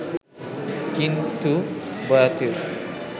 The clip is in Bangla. কিন্তু বয়াতির